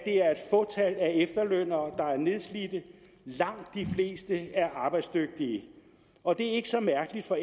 fåtal af efterlønnere der er nedslidte langt de fleste er arbejdsdygtige og det er ikke så mærkeligt for